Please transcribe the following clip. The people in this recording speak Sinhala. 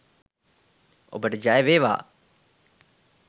ඔබට ජයවේවා